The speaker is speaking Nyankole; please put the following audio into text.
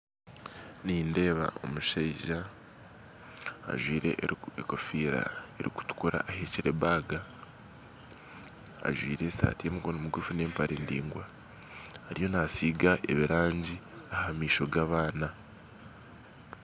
Nindeeba omushaija, ajwire ekofira erikutukura, ahekire ebaga, ajwire eshati y'emikono migufu n'empare ndingwa, ariyo naasiga ebirangi ahamaisho g'abaana